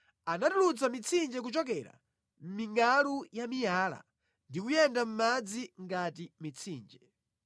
Anatulutsa mitsinje kuchokera mʼmingʼalu ya miyala ndi kuyenda madzi ngati mitsinje.